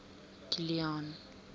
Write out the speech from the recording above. kilian